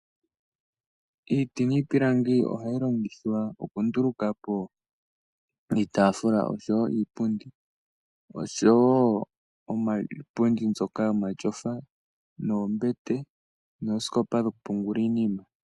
Iiti niipilangi ohayi longithwa okunduluka po iitaafula, oshowo iipundi, oshowo iipundi mbyoka yomatyofa, oombete noshowo oosikopa ndhoka dhoku pungula iinima.